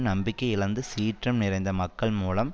நம்பிக்கை இழந்து சீற்றம் நிறைந்த மக்கள் மூலம்